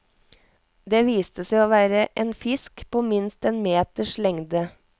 Det viste seg å være en fisk på minst én meters lengde.